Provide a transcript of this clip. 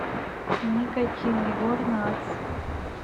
никотин егор натс